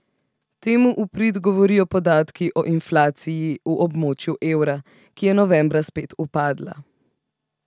Temu v prid govorijo podatki o inflaciji v območju evra, ki je novembra spet upadla.